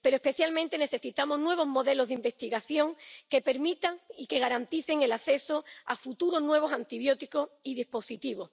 Pero especialmente necesitamos nuevos modelos de investigación que permitan y que garanticen el acceso a futuros nuevos antibióticos y dispositivos.